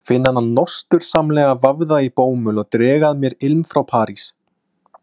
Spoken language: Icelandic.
Finn hana nostursamlega vafða í bómull og dreg að mér ilm frá París.